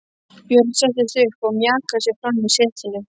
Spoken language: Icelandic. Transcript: Björn settist upp og mjakaði sér fram í setinu.